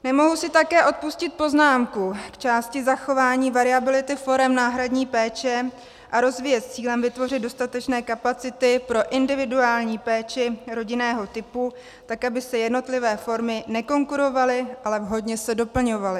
Nemohu si také odpustit poznámku k části zachování variability forem náhradní péče a rozvoje s cílem vytvořit dostatečné kapacity pro individuální péči rodinného typu tak, aby si jednotlivé formy nekonkurovaly, ale vhodně se doplňovaly.